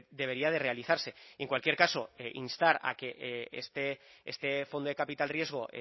debería de realizarse en cualquier caso instar a que este fondo de capital riesgo